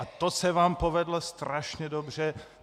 A to se vám povedlo strašně dobře.